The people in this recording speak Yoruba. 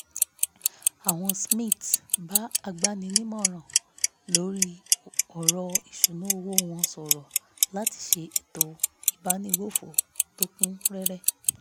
àwọn smiths bá agbaninímọ̀ràn lórí ọ̀ràn ìṣúnná owó wọn sọ̀rọ̀ láti ṣe ètò ìbánigbófò tó kún rẹ́rẹ́